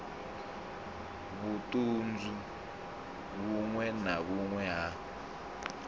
vhuṱanzu vhuṅwe na vhuṅwe ha